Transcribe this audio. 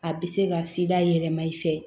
A bɛ se ka yɛlɛma i fɛ